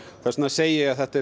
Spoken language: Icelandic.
þess vegna segi ég að þetta